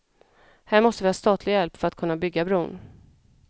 Här måste vi ha statlig hjälp för att kunna bygga bron.